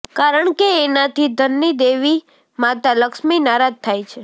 કારણ કે એનાથી ધનની દેવી માતા લક્ષ્મી નારાજ થાય છે